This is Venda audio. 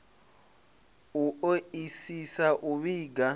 u o isisa u vhiga